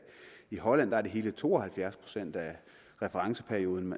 i holland er det i hele to og halvfjerds procent af referenceperioden